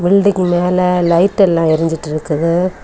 Building மேலே light எல்லாம் எறிஞ்சிட்டு இருக்குது.